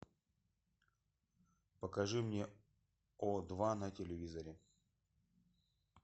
покажи мне о два на телевизоре